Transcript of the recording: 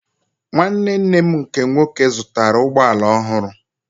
Nwanne nne m nke nwoke zụtara ụgbọala ọhụrụ